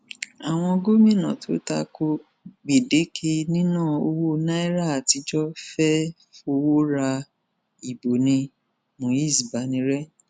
àwọn gómìnà tó ta ko gbèdéke níná owó naira àtijọ fẹẹ fọwọ ra ìbò ní múiz banire